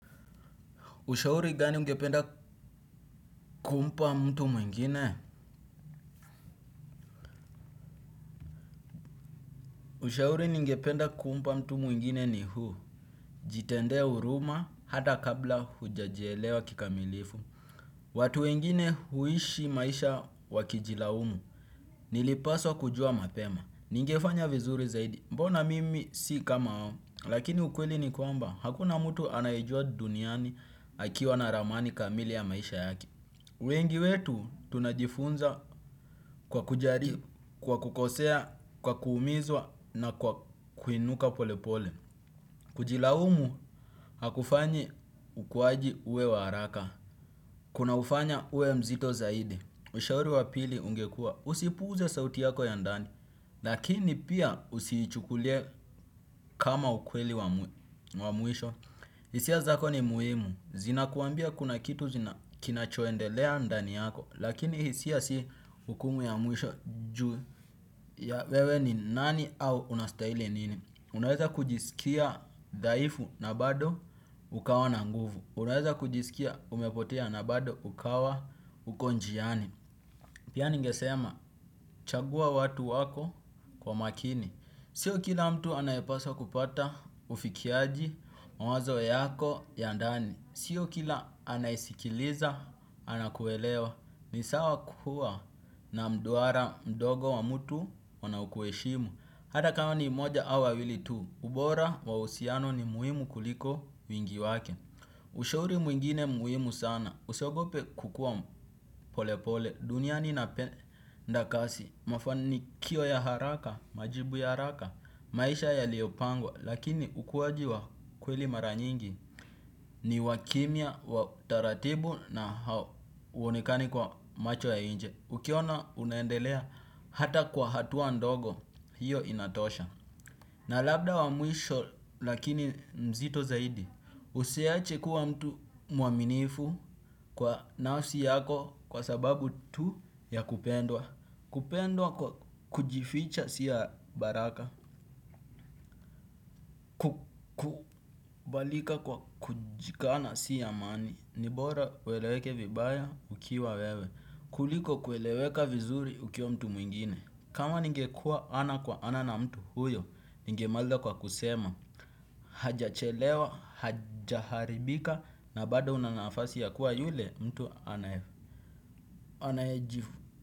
Ushauri gani ungependa kumpa mtu mwingine? Ushauri ningependa kumpa mtu mwingine ni huu. Jitendee huruma hata kabla hujajielewa kikamilifu. Watu wengine huishi maisha wakijilaumu. Nilipaswa kujua mapema. Ningefanya vizuri zaidi. Mbona mimi si kama hao. Lakini ukweli ni kwamba hakuna mtu anayejua duniani akiwa na ramani kamili ya maisha yake. Wengi wetu tunajifunza kwa kujaribu, kwa kukosea, kwa kuumizwa na kwa kuinuka polepole. Kujilaumu hakufanyi ukuaji uwe wa haraka. Kuna ufanya uwe mzito zaidi. Ushauri wa pili ungekua. Usipuuze sauti yako ya ndani. Lakini pia usiichukulie kama ukweli wa mwisho. Hisia zako ni muhimu. Zinakuambia kuna kitu zina kinachoendelea ndani yako. Lakini hisia si hukumu ya mwisho juu ya wewe ni nani au unastahili nini. Unaweza kujisikia dhaifu na bado ukawa na nguvu. Unaweza kujisikia umepotea na bado ukawa uko njiani. Pia ningesema chagua watu wako kwa makini. Sio kila mtu anayepaswa kupata ufikiaji mawazo yako ya ndani. Sio kila anayesikiliza anakuelewa. Ni sawa kuwa na mduara mdogo wa mtu wanaokuheshimu. Hata kama ni mmoja au wawili tu. Ubora wa uhusiano ni muhimu kuliko wingi wake. Ushauri mwingine muhimu sana usiogope kukua pole pole. Duniani inapenda kasi. Mafanikio ya haraka, majibu ya haraka, maisha yaliyopangwa lakini ukuwaji wa kweli mara nyingi ni wa kimya, wa utaratibu na hauonekani kwa macho ya nje. Ukiona unaendelea hata kwa hatua ndogo, hiyo inatosha. Na labda wa mwisho lakini mzito zaidi. Usiache kuwa mtu mwaminifu kwa nafsi yako kwa sababu tu ya kupendwa. Kupendwa kwa kujificha si ya baraka. Kubalika kwa kujikana si amani, ni bora ueleweke vibaya ukiwa wewe, kuliko kueleweka vizuri ukiwa mtu mwingine. Kama ningekua ana kwa ana na mtu huyo, ningemaliza kwa kusema, hajachelewa, hajaharibika, na bado una nafasi ya kuwa yule mtu anayeji.